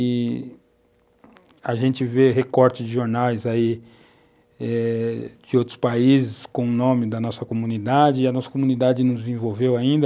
E a gente vê recortes de jornais aí, eh, de outros países com o nome da nossa comunidade e a nossa comunidade nos envolveu ainda.